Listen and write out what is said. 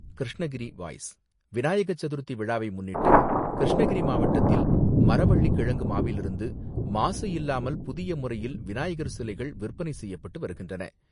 Krishnagiri voice Vinayaka Chaturthi விழாவை முன்னிட்டு, கிருஷ்ணகிரி மாவட்டத்தில், மரவள்ளி கிழங்கு மாவிலிருந்து மாசு இல்லாமல் புதிய முறையில் விநாயகர் சிலைகள் விற்பனை செய்யப்பட்டு வருகின்றன.